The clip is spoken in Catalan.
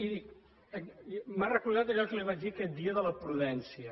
i m’ha recordat allò que li vaig dir aquell dia de la prudència